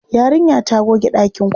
Yarinya ta goge ɗakin kwana.